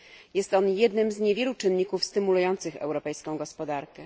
Jest on jednym z niewielu czynników stymulujących europejską gospodarkę.